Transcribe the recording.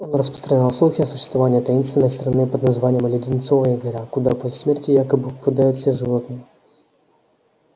он распространял слухи о существовании таинственной страны под названием леденцовая гора куда после смерти якобы попадают все животные